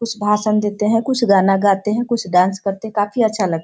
कुछ भाषण देते हैं कुछ गाना गाते कुछ डांस करते हैं काफी अच्छा लग --